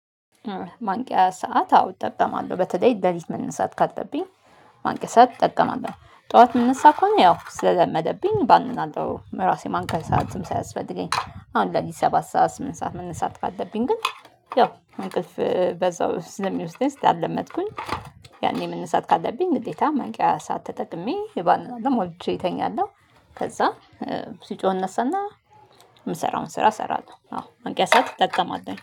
ማንቂያ ሰዓት አዎ እጠቀማለሁ በተለይ ሌሊት መነሳት ካለብኝ ማንቂያ ሰዓት እጠቀማለሁ ጠዋት የምንነሳ ከሆነ ያው ስለደመደብኝ ባንናለው ራሴን ማንቂያ ሰዓትም ሳያስፈልገኝ አሁን ለሊት ሰባት ሰዓት ስምንት ሰዓት መንሳት ካለብኝ ግን ያው እንቅልፍ በዛው ስለሚወስደኝ ስላልለመድኩኝ ያኔ መንሳት ካለብኝ ግዴታ ማንቂያ ሰዓት ተጠቅሜ እባንናለሁ ሞልቸ እተኛለሁ ከዛ ሲጮህ እነሳና የምሰራውን ስራ ሰራለሁ። አዎ ማንቂያ ሰዓት እጠቀማለሁ